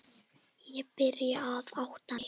Ég byrjaði að átta mig.